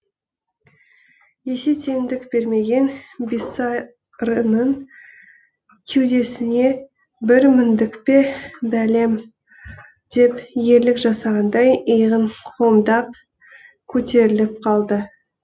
есе теңдік бермеген бисарының кеудесіне бір міндік пе бәлем деп ерлік жасағандай иығын қомдап көтеріліп қалды